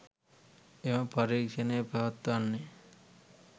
එම පරීක්ෂණය පවත්වන්නේ